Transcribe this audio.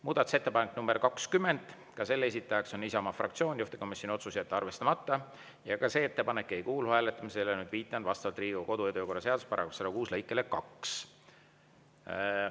Muudatusettepanek nr 20, ka selle esitaja on Isamaa fraktsioon, juhtivkomisjoni otsus: jätta arvestamata, ka see ettepanek ei kuulu hääletamisele, viitan, vastavalt Riigikogu kodu- ja töökorra seaduse § 106 lõikele 2.